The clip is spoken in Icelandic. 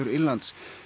Írlands